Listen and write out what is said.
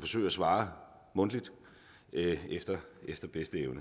forsøge at svare mundtligt efter bedste evne